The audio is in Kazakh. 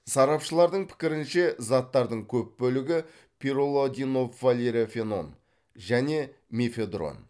сарапшылардың пікірінше заттардың көп бөлігі пирролидиновалерофенон және мефедрон